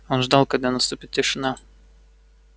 он ждал когда наступит тишина